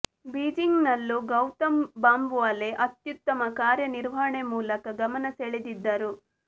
Beijing ನಲ್ಲೂ ಗೌತಮ್ ಬಾಂಬವಾಲೆ ಅತ್ಯುತ್ತಮ ಕಾರ್ಯ ನಿರ್ವಹಣೆ ಮೂಲಕ ಗಮನ ಸೆಳೆದಿದ್ದರು